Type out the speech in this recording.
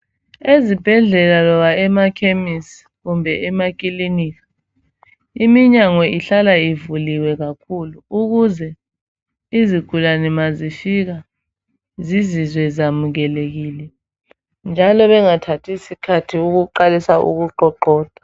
Ezibhedlela loba emakhemisi kumbe emakilinika iminyango ihlala ivuliwe kakhulu ukuze izigulane mazifika zizizwe zamukelekile njalo bengathathi isikhathi ukuqalisa ukuqoqoda.